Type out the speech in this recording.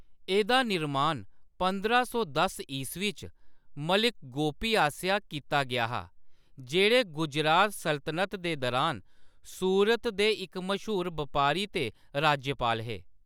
एह्‌‌‌दा निर्माण पंदरां सौ दस ईस्वी च मलिक गोपी आसेआ कीता गेआ हा, जेह्‌‌ड़े गुजरात सल्तनत दे दुरान सूरत दे इक मश्हूर बपारी ते राज्यपाल हे।